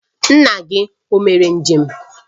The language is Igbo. Nna gị o mere njem?